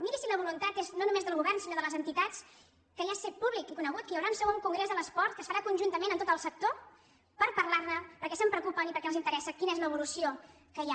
mirin si la voluntat és no només del govern sinó de les entitats que ja és fet públic i conegut que hi haurà un segon congrés de l’esport que es farà conjuntament amb tot el sector per parlar ne perquè se’n preocupen i perquè els interessa quina és l’evolució que hi ha